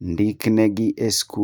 Ndik negi e skul